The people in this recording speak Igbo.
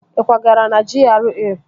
Ị kwagara na GRA?